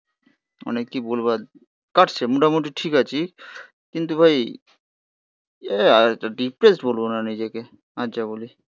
অনেককেই বলবার কাটছে. মোটামুটি ঠিক আছি. কিন্তু ভাই আর একটা ডিপ্রেস বলবো না নিজেকে. আর যা বলি.